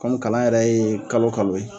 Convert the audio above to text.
kalan yɛrɛ ye kalo kalo ye